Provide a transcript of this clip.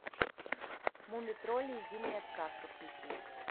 мумий тролль и зимняя сказка включи